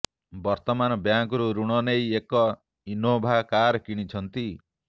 ବର୍ତ୍ତମାନ ବ୍ୟାଙ୍କରୁ ଋଣ ନେଇ ଏକ ଇନୋଭା କାର କିଣିଛନ୍ତି